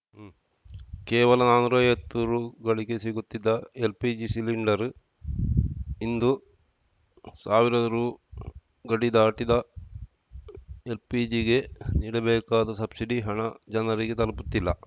ಕೇವಲ ನಾನೂರೈವತ್ತು ರುಗಳಿಗೆ ಸಿಗುತ್ತಿದ್ದ ಎಲ್‌ಪಿಜಿ ಸಿಲಿಂಡರ್‌ ಇಂದು ಸಾವಿರ ರು ಗಡಿ ದಾಟಿದ ಎಲ್‌ಪಿಜಿಗೆ ನೀಡಬೇಕಾದ ಸಬ್ಸಿಡಿ ಹಣ ಜನರಿಗೆ ತಲುಪುತ್ತಿಲ್ಲ